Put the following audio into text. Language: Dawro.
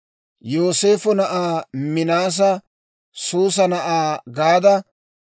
Yooseefo na'aa Minaasa Suusa na'aa Gadda;